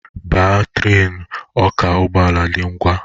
Baa trenu, ọ ka ụgbọala dị ngwa!